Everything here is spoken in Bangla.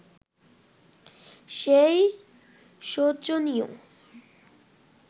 সেই শোচনীয়